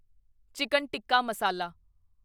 chicken tikka ਮਸਾਲਾ